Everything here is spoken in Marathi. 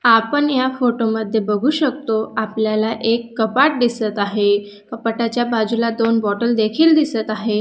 आपण या फोटो मध्ये बघू शकतो आपल्याला एक कपाट दिसत आहे कपाटाच्या बाजूला दोन बॉटल देखील दिसत आहे.